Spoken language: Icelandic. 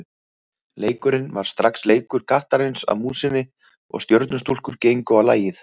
Leikurinn varð strax leikur kattarins að músinni og Stjörnustúlkur gengu á lagið.